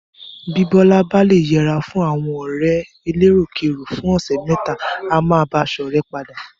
Bí Bọ́lá bá le yẹra fún àwọn ọ̀rẹ́ rẹ̀ eléròkérò fún ọ̀sẹ̀ mẹ́ta, á máa bá a ṣọ̀rẹ́ padà.